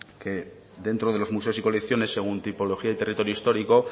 dentro de los museos y colecciones según tipología y territorio histórico